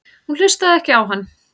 Hún hlustaði ekki á hann.